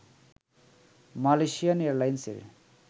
Malaysian এয়ারলাইন্সের